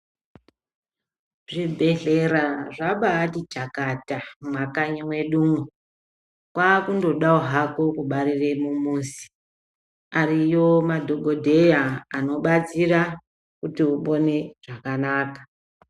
Zvibhedhlera zvabati chakata mumakanyi mwedu. Kwakundodawo hako kubarire mumuzi ariyo madhokodheya anobatsira kuti upone zvakanaka .